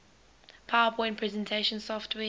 powerpoint presentation software